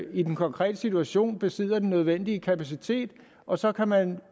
i den konkrete situation ikke besidder den nødvendige kapacitet og så kan man jo